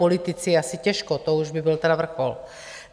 Politici asi těžko, to už by byl tedy vrchol.